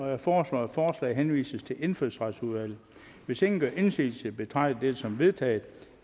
jeg foreslår at forslaget henvises til indfødsretsudvalget hvis ingen gør indsigelse betragter dette som vedtaget